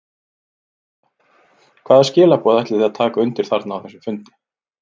Linda: Hvaða skilaboð ætlið þið að taka undir þarna á þessum fundi?